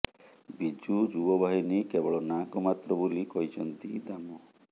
ବିଜୁ ଯୁବ ବାହିନୀ କେବଳ ନାଁକୁ ମାତ୍ର ବୋଲି କହିଛନ୍ତି ଦାମ